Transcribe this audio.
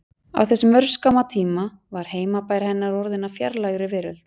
Á þessum örskamma tíma var heimabær hennar orðinn að fjarlægri veröld.